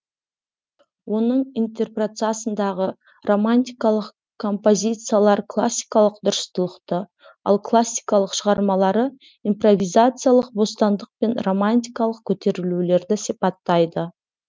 оның интерпретациясындағы романтикалық композициялар классикалық дұрыстылықты ал классикалық шығармалары импровизациялық бостандық пен романтикалық көтерілулерді сипаттады